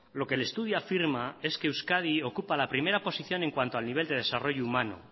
lo que el estudio afirma es que euskadi ocupa la primera posición en cuanto al nivel de desarrollo humano